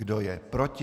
Kdo je proti?